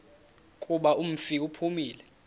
kuba umfi uphumile